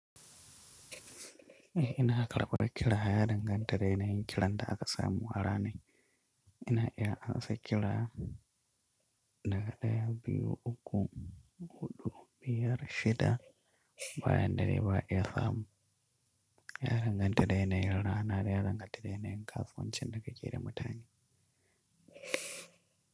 Ina kar ɓar kira ya danganta da yanayin ƙiran da aka samu a ranai. Ina iya an sak kira daga ɗaya biyu uku, huɗu, biyar, shida bayan da dai ba'a iya samu. Yana danganta da yanayin rana da ya danganta da yanayin kasuwancin da ake yi da mutane.